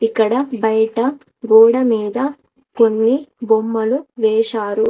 ఇక్కడ బయట గోడ మీద కొన్ని బొమ్మలు వేశారు.